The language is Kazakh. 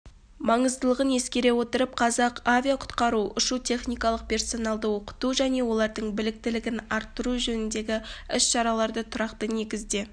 маңыздылығын ескере отырып қазақ авиақұтқару ұшу-техникалық персоналды оқыту және олардың біліктілігін арттыру жөніндегі іс-шараларды тұрақты негізде